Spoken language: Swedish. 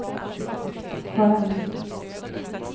skönt